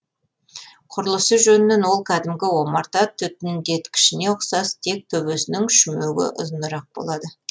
құрылысы жөнінен ол кәдімгі омарта түтіндеткішіне ұқсас тек төбесінің шүмегі ұзынырақ болады